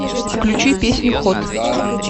включи песню хот